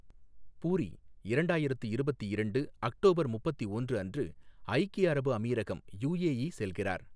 பூரி, இரண்டாயிரத்து இருபத்தி இரண்டு அக்டோபர் முப்பத்தி ஒன்று அன்று ஐக்கிய அரபு அமீரகம் யுஏஇ செல்கிறார்.